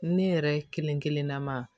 Ne yɛrɛ kelenkelen na ma